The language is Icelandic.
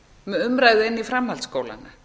með umræðu inn í framhaldsskóla